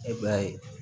E b'a ye